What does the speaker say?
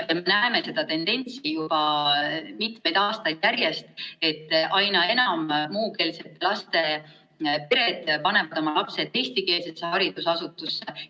Me näeme seda tendentsi juba mitmeid aastaid järjest, et aina enam muukeelsete laste pered panevad oma lapsed eestikeelsesse haridusasutusse.